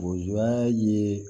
Lujura ye